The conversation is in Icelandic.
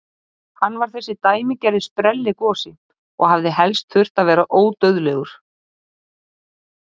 Hann var þessi dæmigerði sprelligosi og hefði helst þurft að vera ódauðlegur!